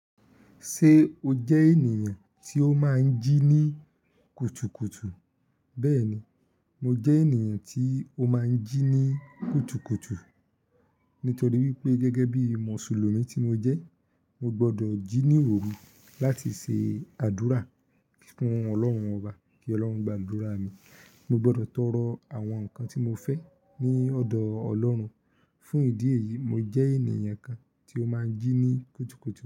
Ṣé o jẹ́ ènìyàn tí ó máa ń jí ní kùtùkùtù? Bẹ́ẹ̀ni, mo jẹ́ ènìyàn tí ó máa ń jí ní kùtùkùtù nítorí wípé gẹ́gẹ́ bí Mùsùlùmí tí mo jẹ́, mo gbọdọ̀ jí ní òru láti ṣe àdúrà fún Ọlọ́run ọba kí Ọlọ́run gba àdúrà mi. Mo gbọdọ̀ tọrọ àwọn nǹkan tí mo fẹ́ ní ọ̀dọ̀ Ọlọ́run. Fún ìdí èyí, mo jẹ́ ènìyàn kan tí ó máa ń jí ní kùtùkùtù.